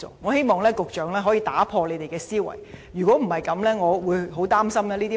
我希望局長可以打破思維，否則，我很擔心民怨只會越滾越大。